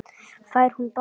Fær hún bata?